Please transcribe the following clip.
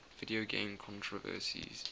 video game controversies